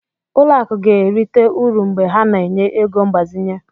Ụlọ akụ ga-erite uru mgbe ha na-enye ego mgbazinye.